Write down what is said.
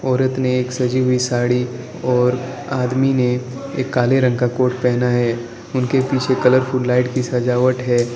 औरत ने एक सजी हुई साड़ी और आदमी ने एक काले रंग का कोट पहना है उनके पीछे कलरफुल लाइट की सजावट है।